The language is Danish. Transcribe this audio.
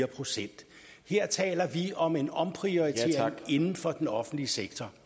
procent her taler vi om en omprioritering inden for den offentlige sektor